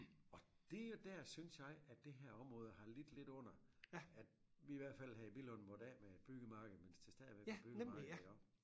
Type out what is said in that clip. Og det jo der synes jeg at det her område har lidt lidt under at vi i hvert fald her i Billund måtte af med et byggemarked mens det stadigvæk var byggemarked iggå